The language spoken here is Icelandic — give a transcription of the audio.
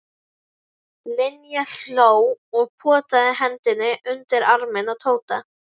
Linja hló og potaði hendinni undir arminn á Tóta.